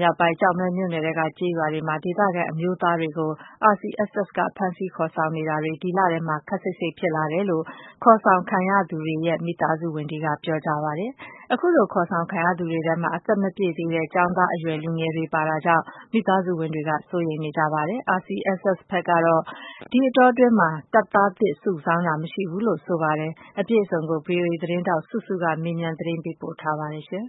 မြောက်ပိုင်း၊ ကျောက်မဲမြို့နယ်ထဲက ကျေးရွာတွေမှာ ဒေသခံအမျိုးသားတွေကို RCSS ဘက်က ဖမ်းဆီးခေါ်ဆောင်တာတွေ ဒီလထဲမှာ ခပ်စိတ်စိတ်ဖြစ်လာတယ်လို့ ခေါ်ဆောင်ခံရသူ မိသားစုဝင်တွေက ပြောပါတယ်။ အခုလို ခေါ်ဆောင်ခံရသူတွေထဲမှာ အသက်မပြည့်သေးတဲ့ ကျောင်းနေအရွယ် လူငယ်တွေ ပါနေတာကြောင့် မိသားစုဝင်တွေက စိုးရိမ်နေကြတာပါ။ ဒါနဲ့ပတ်သက်ပြီး RCSS ဘက်ကတော့ ဒီအတောအတွင်း တပ်သားသစ်စုဆောင်းတာ မရှိဘူးလို့ ဆိုပါတယ်။ ဒီအကြောင်းအပြည့်အစုံကို ဗွီအိုအေသတင်းထောက် စုစုကမေးမြန်း ပေးပို့ထားပါတယ်။ ရှမ်း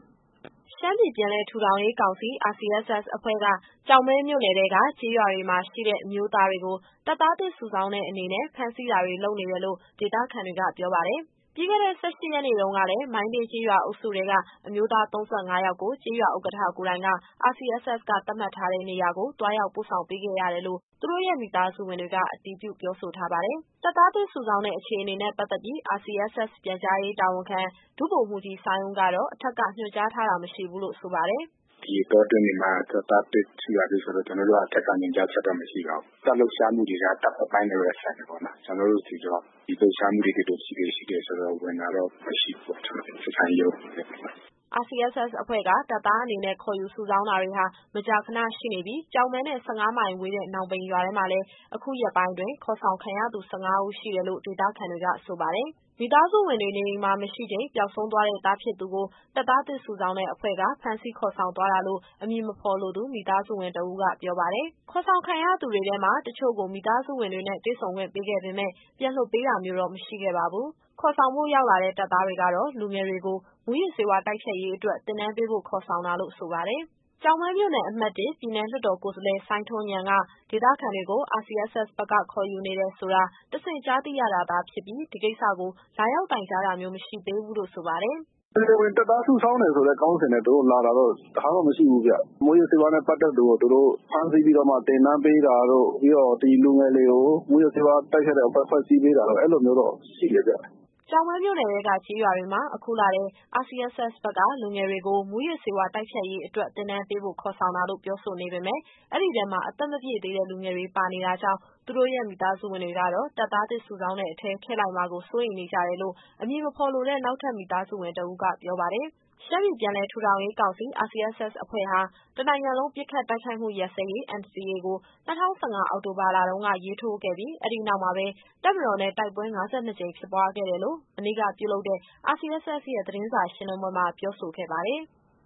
ပြည်ပြန်လည် ထူထောင်ရေးကောင်စီ RCSS အဖွဲ့က ကျောက်မဲမြို့နယ်ထဲက ကျေးရွာတွေမှာရှိတဲ့ အမျိုးသားတွေကို တပ်သားသစ်စုဆောင်းတဲ့အနေနဲ့ ဖမ်းဆီးတာတွေလုပ်နေတယ်လို့ ဒေသခံတွေက ပြောပါတယ်။ ပြီးခဲ့တဲ့ ၁၈ရက်နေ့တုန်းကလည်း မိုင်းတင်းကျေးရွာအုပ်စုထဲက အမျိုးသား ၃၅ယောက်ကို ကျေးရွာဥက္ကဋ္ဌကိုယ်တိုင်က RCSS ကသတ်မှတ်ထားတဲ့ နေရာကို သွားရောက်ပို့ဆောင်ပေးခဲ့ရတယ်လို့ သူတို့ရဲ့မိသားစုဝင်တွေက အတည်ပြုပြောဆိုထားပါတယ်။ တပ်သားသစ်စုဆောင်းတဲ့ အခြေအနေနဲ့ ပတ်သက်ပြီး RCSS ပြန်ကြားရေးတာဝန်ခံ ဒုဗိုလ်မှူးကြီး စိုင်းဦးကတော့ အထက်က ညွှန်ကြားထားတာ မရှိဘူးလို့ ဆိုပါတယ်။ “ဒီအတော တွင်းတွေမှာ တပ်သားသစ်စုတာတို့ ဆိုတာတော့ ကျတော်တို့က အထက်ကညွှန်ကြားချက်တော့ မရှိပါဘူး။ တပ်ကလှုပ်ရှားမှုတွေက တပ်အပိုင်းနဲ့ပဲ ဆိုင်တယ်ပေါ့နော်။ ကျတော်တို့ဆီကတော့ ဒီလှုပ်ရှားမှုတွေ ဒီလိုအခြေအနေရှိတယ်ဆိုတာ ဝင်တာတော့ မရှိဘူးပေါ့။ ကျတော်တို့ ဆက်ဆံရေးရုံး အနေနဲ့။” RCSS အဖွဲ့က တပ်သားအနေနဲ့ခေါ်ယူ စုဆောင်းတာတွေဟာ မကြာခဏရှိနေပြီး ကျောက်မဲနဲ့ ၁၅မိုင်ဝေးတဲ့ နောင်ပိန်ရွာထဲမှာလည်း အခုရက်ပိုင်းတွင်း ခေါ်ဆောင်ခံရသူ ၁၅ဦးရှိတယ်လို့ ဒေသခံတွေက ဆိုပါတယ်။ မိသားစုဝင်တွေ နေအိမ်မှာမရှိချိန် ပျောက်ဆုံးသွားတဲ့ သားဖြစ်သူကို တပ်သားသစ် စုဆောင်းတဲ့အဖွဲ့က ဖမ်းဆီးခေါ်ဆောင်သွားတာလို့အမည်မဖော်လိုသူ မိသားစုဝင်တဦးက ပြောပါတယ်။ ခေါ်ဆောင်ခံရသူတွေထဲမှာ တချို့ကိုမိသားစုဝင်တွေနဲ့ တွေ့ဆုံခွင့်ပေးခဲ့ပေမယ့် ပြန်လွှတ်ပေးတာမျိုးတော့ မရှိခဲ့ပါဘူး။ ခေါ်ဆောင်ဖို့ ရောက်လာတဲ့ တပ်သားတွေကတော့ လူငယ်တွေကို မူးယစ်ဆေးဝါး တိုက်ဖျက်ရေးအတွက် သင်တန်းပေးဖို့ ခေါ်ဆောင်တာလို့ ဆိုပါတယ်။ ကျောက်မဲမြို့နယ်၊ အမှတ် ၁၊ ပြည်နယ်လွှတ်တော် ကိုယ်စားလှယ် စိုင်းထွန်းဉာဏ်က ဒေသခံတွေကို RCSS ဘက်က ခေါ်ယူနေတယ်ဆိုတာ တဆင့်ကြားသိရတာသာဖြစ်ပြီး၊ ဒီကိစ္စကို လာရောက် တိုင်ကြားတာမျိုး မရှိသေးဘူးလို့ ဆိုပါတယ်။ “တရားဝင်တပ်သား စုဆောင်းတယ်ဆိုတဲ့ ခေါင်းစဉ်နဲ့ သူတို့လာတာတော့ တခါမှမရှိဘူးဗျ။ မူးယစ်ဆေးဝါးနဲ့ ပတ်သက်သူကို သူတို့ဖမ်းဆီးပြီးတော့မှ သင်တန်းပေးတာတို့၊ ပြီးတော့ ဒီလူငယ်တွေကို မူးယစ်ဆေးဝါး တိုက်ဖျက်တဲ့အဖွဲ့ ဖွဲ့စည်းပေးတာတို့ အဲလိုမျိုးတော့ ရှိတယ်ဗျ။” ကျောက်မဲမြို့နယ်ထဲက ကျေးရွာတွေမှာ အခုလထဲ RCSS ဘက်က လူငယ်တွေကို မူးယစ်ဆေးဝါး တိုက်ဖျက်ရေးအတွက် သင်တန်းပေးဖို့ ခေါ်ဆောင်တာလို့ ပြောဆိုပေမယ့် အဲဒီထဲမှာ အသက်မပြည့်သေးတဲ့ လူငယ်တွေပါနေတာကြောင့် သူတို့ရဲ့မိသားစုဝင်တွေကတော့ တပ်သားသစ်စုဆောင်းတဲ့အထဲ ထည့်လိုက်မှာကို စိုးရိမ်နေကြတယ်လို့ အမည်မဖော်လိုတဲ့ နောက်ထပ် မိသားစုဝင်တဦးက ပြောပါတယ်။ ရှမ်းပြည်ပြန်လည် ထူထောင်ရေးကောင်စီ RCSS အဖွဲ့ဟာ တနိုင်ငံလုံးပစ်ခတ် တိုက်ခိုက်မှု ရပ်စဲရေး NCA ကို ၂၀၁၅ အောက်တိုဘာလတုန်းက ရေးထိုးခဲ့ပြီး၊ အဲဒီနောက်မှာပဲ တပ်မတော်နဲ့ တိုက်ပွဲ ၅၂ကြိမ် ဖြစ်ပွားခဲ့တယ်လို့ မနေ့ကပြုလုပ်တဲ့ RCSS ရဲ့ သတင်းစာရှင်းလင်းပွဲမှာ ပြောဆိုခဲ့ပါတယ်။